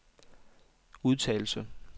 udtalelse